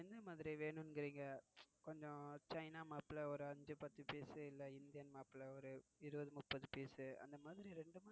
என்ன மாதிரி வேணுமிங்கிறீங்க. கொஞ்சம் China mop ல ஒரு அஞ்சு பத்து பீஸ் இல்ல இந்தியன் mop ல ஒரு இருபது முப்பது பீஸ் அந்தமாதிரி இரண்டு.